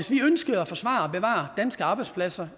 ønsker at forsvare og bevare danske arbejdspladser